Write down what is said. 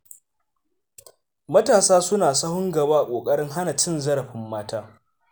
Matasa suna sahun gaba a ƙoƙarin hana cin zarafin mata.